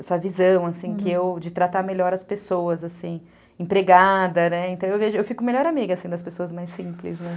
essa visão, assim, que eu, de tratar melhor as pessoas, assim, empregada, né, então eu vejo, eu fico melhor amiga, assim, das pessoas mais simples, né.